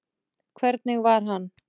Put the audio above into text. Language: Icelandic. Hvernig var hann?